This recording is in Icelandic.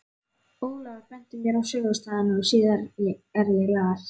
Ólafur benti mér á sögustaðina og síðar er ég las